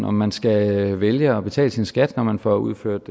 om man skal vælge at betale sin skat når man får udført